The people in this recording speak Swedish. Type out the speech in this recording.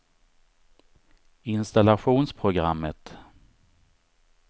installationsprogrammet